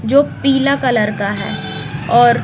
जो पीला कलर का है और--